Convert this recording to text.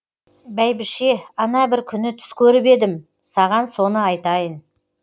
бәйбіше ана бір күні түс көріп едім саған соны айтайын